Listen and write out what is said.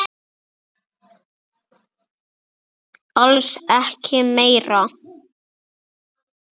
Alls ekki meira.